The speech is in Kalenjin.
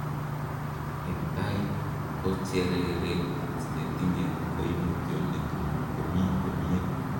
En tai, kochereret netinye koimutioniton komi komie.